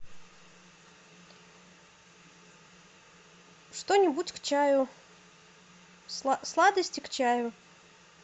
что нибудь к чаю сладости к чаю